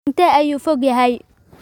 Intee ayuu fog yahay?